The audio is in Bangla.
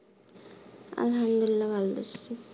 আলহামদুলিল্লাহ ভালো আছি